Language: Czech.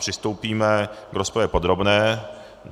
Přistoupíme k rozpravě podrobné.